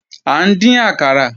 À ń dín àkàrà